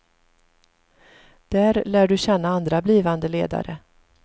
Där lär du känna andra blivande ledare.